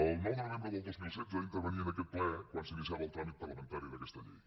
el nou de novembre del dos mil setze intervenia en aquest ple quan s’iniciava el tràmit parlamentari d’aquesta llei